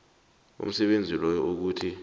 umsebenzi loyo ukuthi